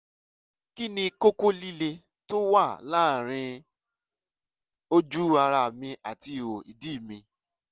kí ni kókó líle tó wà láàárín ojú ara mi àti ihò ìdí mi?